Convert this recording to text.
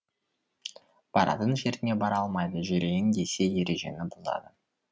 баратын жеріне бара алмайды жүрейін десе ережені бұзады